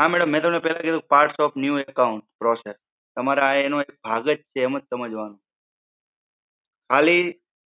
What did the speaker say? હા madam મેં તમને પેલા કીધું કે parts of new account process તમારે આ એનો એક ભાગ જ છે એમ જ સમજવાનું. ખાલી